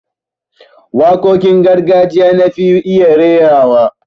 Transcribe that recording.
Waƙoƙin gargajiya na fi iya rairawa